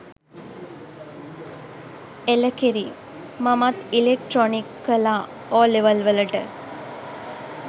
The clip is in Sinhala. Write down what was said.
එළකිරි! මමත් ඉලෙක්ට්‍රොනික් කළා ඕලෙවල් වලට.